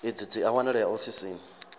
idzi dzi a wanalea ofisini